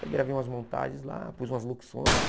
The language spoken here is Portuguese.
Aí gravei umas montagens lá, pus umas locuções.